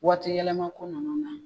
Waati yɛlɛma ko nunnu na.